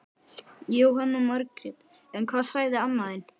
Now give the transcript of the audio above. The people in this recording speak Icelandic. Jóhanna Margrét: En hvað sagði amma þín?